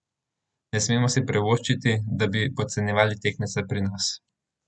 Ne smemo si privoščiti, da bi podcenjevali tekmece pri nas.